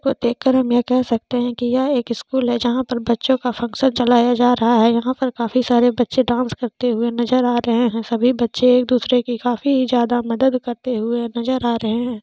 ये देख कर हम ये कह सकते है की यह एक स्कूल है जहा पर बच्चों का फंगक्शन चलाया जा रहा है यहाँ पर काफी सारे बच्चे डांस करते हुए नजर आ रहे है सभी बच्चे एक दूसारे के काफी जादा मदद करते हुए नजर आ रहे है।